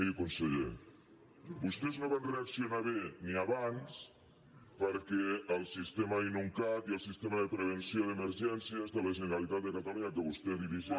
miri conseller vostès no van reaccionar bé ni abans perquè el sistema inuncat i el sistema de prevenció d’emergències de la generalitat de catalunya que vostè dirigeix